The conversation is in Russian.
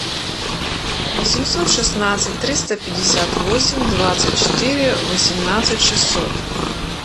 восемьсот шестнадцать триста пятьдесят восемь двадцать четыре восемнадцать шестьсот